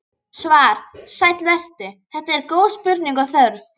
Svar: Sæll vertu, þetta eru góð spurning og þörf.